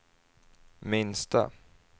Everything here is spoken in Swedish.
minsta